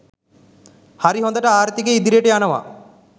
හරි හොඳට ආර්ථිකය ඉදිරියට යනවා